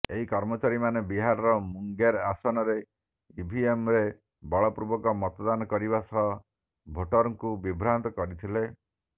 ଏହି କର୍ମଚାରୀମାନେ ବିହାରର ମୁଙ୍ଗେର ଆସନରେ ଇଭିଏମ୍ରେ ବଳପୂର୍ବକ ମତଦାନ କରିବା ସହ ଭୋଟର୍ଙ୍କୁ ବିଭ୍ରାନ୍ତ କରିଥିଲେ